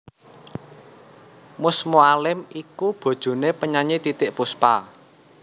Mus Mualim iku bojoné penyanyi Titiek Puspa